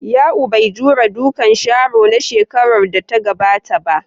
Ya'u bai jure dukan Sharo na shekarar da ta gabata ba.